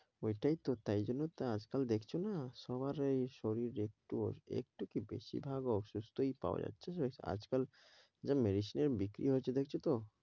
ওইটাইত তাই জন্যই তো আজকাল দেখছনা সবার এই শরীর একটু একটুকি বেশিভাগ অসুস্থই পাওয়া যাচ্ছে। আজকাল যা medicine বিক্রি হয়েছে দেখেছ তো?